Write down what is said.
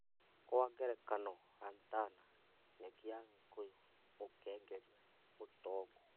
Kwa ngerekano lantana, nyeki ya gĩkũyũ, mũkengeria, mũtongu